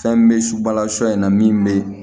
Fɛn bɛ subalasɔ in na min bɛ